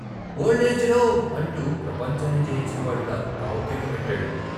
ఓల్డేజేడోవ్ " అంటూ ప్రపంచాన్ని జయించినవాడిలా గావుకేక పెట్టాడు.